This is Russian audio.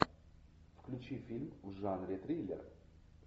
включи фильм в жанре триллер